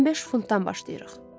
15 funtdan başlayırıq.